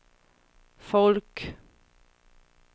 folk